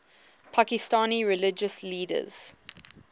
pakistani religious leaders